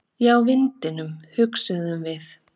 Já, vindinum, hugsuðum við.